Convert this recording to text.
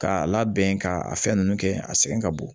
K'a labɛn ka a fɛn ninnu kɛ a sɛgɛn ka bon